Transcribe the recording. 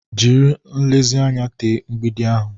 Jiri nlezianya tee mgbidi ahụ.